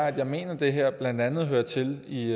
at jeg mener det her blandt andet hører til i